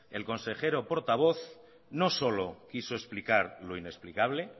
el consejero portavoz no solo quiso explicar lo inexplicable